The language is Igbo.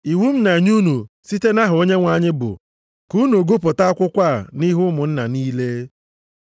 Iwu m na-enye unu site nʼaha Onyenwe anyị bụ ka unu gụpụta akwụkwọ a nʼihu ụmụnna niile.